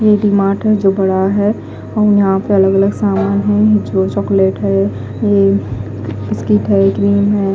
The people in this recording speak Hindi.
ये एक डी _मार्ट है जो बड़ा है और यहा पे अलग अलग सामान है जो चोकलेट है बिस्किट है क्रीम है।